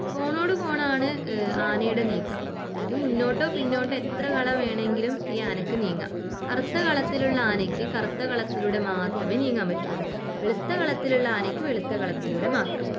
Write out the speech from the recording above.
കോണോടു കോണാണ് ഏഹ് ആനയുടെ നീക്കം. അതായത് മുന്നോട്ടോ പിന്നോട്ടോ എത്ര കളം വേണമെങ്കിലും ഈ ആനയ്ക്ക് നീങ്ങാം. കറുത്ത കളത്തിലുള്ള ആനയ്ക്ക് കറുത്ത കളത്തിലൂടെ മാത്രമേ നീങ്ങാൻ പറ്റുവൊള്ളൂ. വെളുത്ത കളത്തിലുള്ള ആനയ്ക്ക് വെളുത്ത കളത്തിലൂടെ മാത്രം